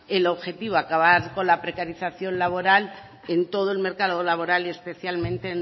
el objetivo acabar con la precarización laboral en todo el mercado laboral y especialmente